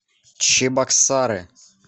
чебоксары